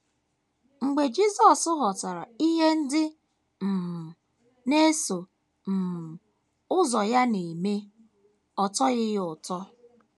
Mgbe Jisọs ghọtara ihe ndị um na - eso um ụzọ ya na - eme, ọ tọghị ya ụtọ.